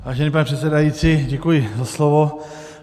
Vážený pane předsedající, děkuji za slovo.